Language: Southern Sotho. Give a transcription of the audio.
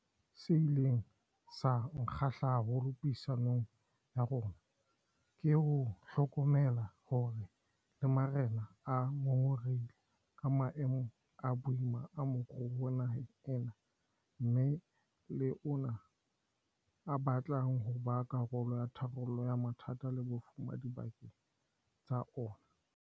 Se ileng sa nkgahla haholo puisanong ya rona ke ho hlokomela hore le marena a ngongorehile ka maemo a boima a moruo naheng ena mme le ona a batla ho ba karolo ya tharollo ya mathata le bofuma dibakeng tsa ona.